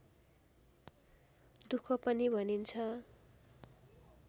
दुःख पनि भनिन्छ